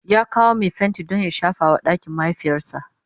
ya kawo Mai fenti Dan ya shafa wa ɗakin mahaifiyarsa